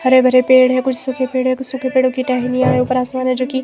हरे भरे पेड़ है कुछ सूखे पेड़ है कुछ सूखे पेड़ो की टहनियां है ऊपर आसमान है जो की--